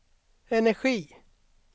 energi